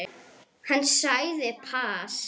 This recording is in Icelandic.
Hann sagði pass.